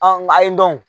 nga ayi dɔn